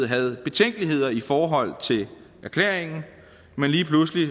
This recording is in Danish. havde betænkeligheder i forhold til erklæringen men lige pludselig